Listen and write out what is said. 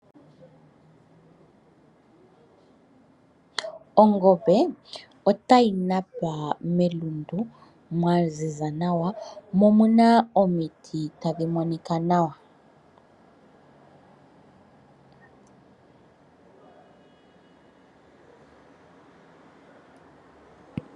Ongombe otayi napa melundu mwa ziza nawa mo omuna omiti tadhi monika nawa.